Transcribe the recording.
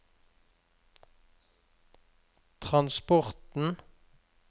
transporten